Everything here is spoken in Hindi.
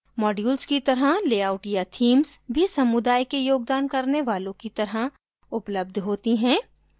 modules की तरह लेआउट या themes भी समुदाय के योगदान करने वालो की तरह उपलब्ध होती हैं